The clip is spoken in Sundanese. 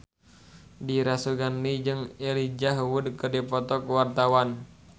Dira Sugandi jeung Elijah Wood keur dipoto ku wartawan